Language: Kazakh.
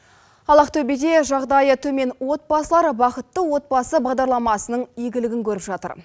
ал ақтөбеде жағдайы төмен отбасылар бақытты отбасы бағдарламасының игілігін көріп жатыр